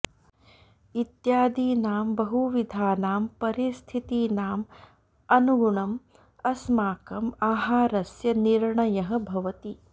इत्यादीनां बहुविधानां परिस्थितीनाम् अनुगुणम् अस्माकम् आहारस्य निर्णयः भवति